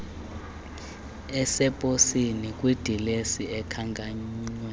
aseposini kwidilesi ekhankanywe